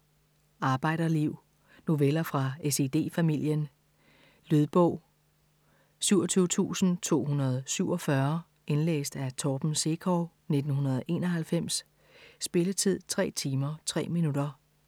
Arbejderliv Noveller fra SiD-familien. Lydbog 27247 Indlæst af Torben Sekov, 1991. Spilletid: 3 timer, 3 minutter.